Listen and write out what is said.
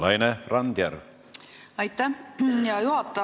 Aitäh, hea juhataja!